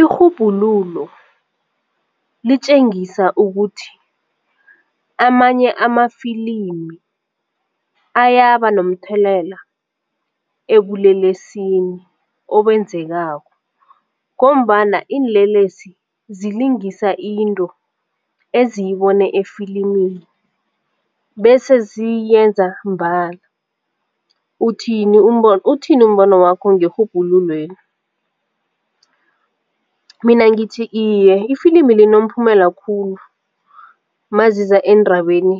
Irhubhululo litjengisa ukuthi amanye amafilimi ayaba nomthelela ebulelesini obenzekako ngombana iinlelesi zilingisa into eziyibone efilimini bese ziyenza mbala uthini umbono wakho ngerhubhululweni? Mina ngithi iye ifilimu linomphumela khulu maziza eendabeni